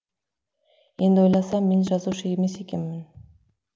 енді ойласам мен жазушы емес екенмін